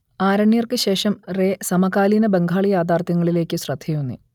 ആരണ്യർക്ക് ശേഷം റേ സമകാലീന ബംഗാളി യാഥാർത്ഥ്യങ്ങളിലേയ്ക്ക് ശ്രദ്ധയൂന്നി